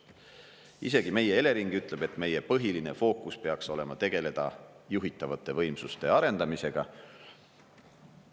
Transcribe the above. " Isegi meie Elering ütleb, et meie põhiline fookus peaks olema tegeleda juhitavate võimsuste arendamisega.